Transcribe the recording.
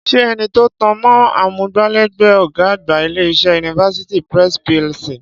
Ṣé ẹni tó tan mọ́ amúgbálẹ́gbẹ̀ẹ́ ọ̀gá àgbà ilé-iṣẹ́ University Press PLC